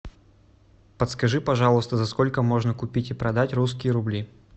подскажи пожалуйста за сколько можно купить и продать русские рубли